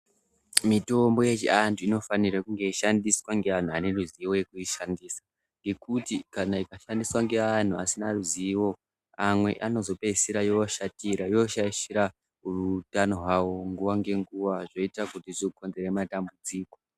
Mitombo yechiandu inofanire kunge yeishandiswa neantu aneruzivo rekuishandisa ngekuti, ikashandiswa neantu asina ruzivo amwe inozogumisira yoshaishira muutano hwavo zvinozoguma zvokonzeresa matambudziko